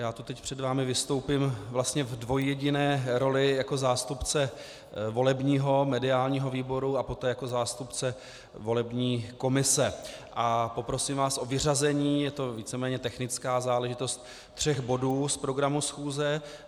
Já tu teď před vámi vystoupím vlastně v dvojjediné roli jako zástupce volebního mediálního výboru a poté jako zástupce volební komise a poprosím vás o vyřazení - je to víceméně technická záležitost - tří bodů z programu schůze.